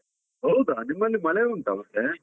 ಹೌದಾ, ನಿಮ್ಮಲ್ಲಿ ಮಳೆ ಉಂಟಾ ಅವಸ್ಥೆ.